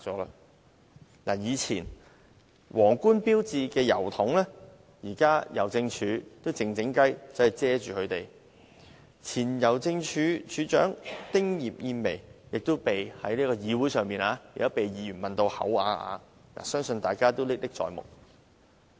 舊郵筒上的皇冠標誌被香港郵政偷偷遮蓋，前香港郵政署署長丁葉燕薇曾在議會上被議員問到啞口無言，相信大家都歷歷在目。